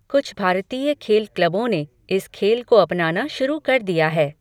कुछ भारतीय खेल क्लबों ने इस खेल को अपनाना शुरू कर दिया है।